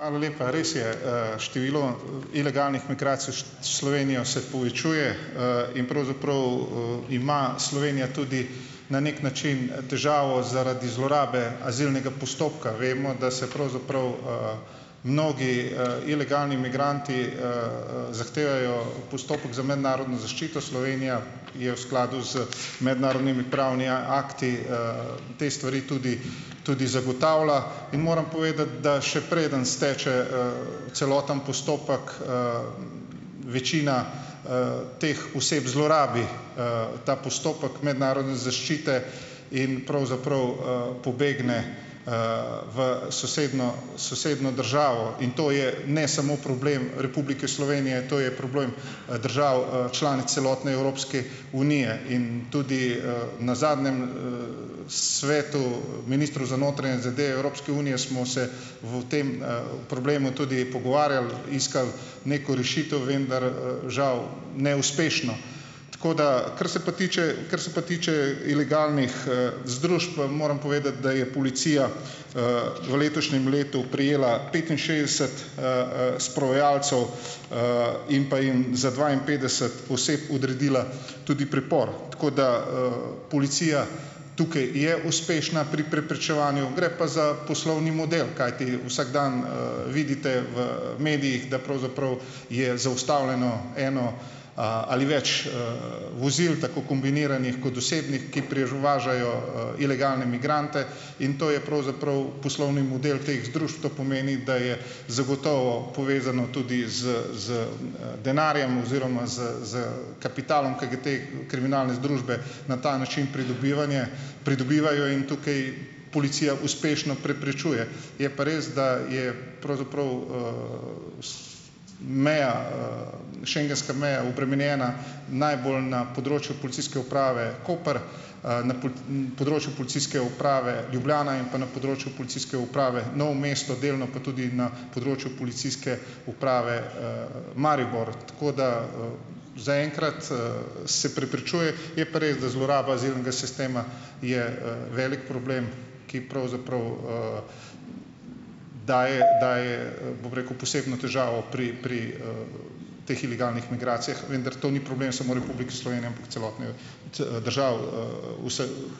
Hvala lepa. Res je. Število ilegalnih Slovenijo se povečuje, in pravzaprav ima Slovenija tudi na neki način težavo zaradi zlorabe azilnega postopka. Vemo, da se pravzaprav mnogi ilegalni migranti, zahtevajo postopek za mednarodno zaščito. Slovenija je v skladu z mednarodnimi pravni akti te stvari tudi tudi zagotavlja in moram povedati, da še preden steče, celoten postopek, večina teh oseb zlorabi ta postopek mednarodne zaščite in pravzaprav, pobegne v sosednjo sosednjo državo in to je ne samo problem Republike Slovenije, to je problem, držav članic celotne Evropske unije in tudi na zadnjem svetu ministrov za notranje zadeve Evropske unije smo se o tem, problemu tudi pogovarjali, iskali neko rešitev, vendar, žal neuspešno. Tako da, kar se pa tiče, kar se pa tiče ilegalnih, vam moram povedati, da je policija, v letošnjem letu prijela petinšestdeset sprovajalcev, in pa jim za dvainpetdeset oseb odredila tudi pripor. Tako, da, policija tukaj je uspešna pri preprečevanju, gre pa za poslovni model, kajti vsak dan, vidite v medijih, da pravzaprav je zaustavljeno eno, ali več vozil, tako kombiniranih kot osebnih, ki važajo ilegalne migrante in to je pravzaprav poslovni model teh združb, to pomeni, da je zagotovo povezano tudi z denarjem oziroma s s kapitalom, ki ga te kriminalne združbe na ta način pridobivanje pridobivajo in tukaj policija uspešno preprečuje. Je pa res, da je pravzaprav meja, schengenska meja obremenjena najbolj na področju Policijske uprave Koper, na področju Policijske uprave Ljubljana in pa na področju Policijske uprave Novo mesto, delno pa tudi na področju Policijske uprave, Maribor. Tako da, zaenkrat, se preprečuje, je pa res, da zloraba azilnega sistema je, velik problem, ki pravzaprav daje daje, bom rekel, posebno težavo pri pri teh ilegalnih migracijah, vendar to ni problem samo Republike Slovenije, ampak celotne držav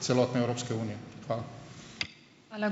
celotne Evropske unije. Hvala.